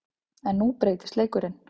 En nú breytist leikurinn.